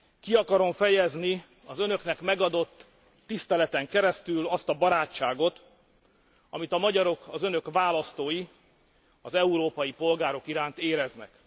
Ki akarom fejezni az Önöknek megadott tiszteleten keresztül azt a barátságot, amit a magyarok az Önök választói az európai polgárok iránt éreznek.